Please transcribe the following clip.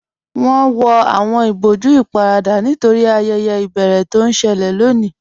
Wọn wọ awọn ìbọ̀jú íparadà nítorí ayẹyẹ ibẹ̀rẹ̀ tó n ṣẹlẹ̀ lọ́ní